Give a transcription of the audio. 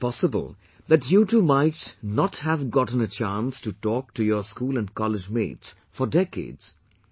It's possible that you too might not have gotten a chance to talk to your school and college mates for decades